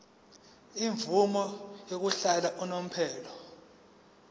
imvume yokuhlala unomphela